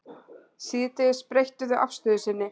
Síðdegis breyttu þau afstöðu sinni